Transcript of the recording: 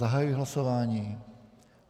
Zahajuji hlasování.